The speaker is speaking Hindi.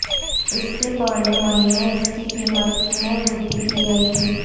इसके पहले मई में इसकी कीमत में वृद्धि की गयी थी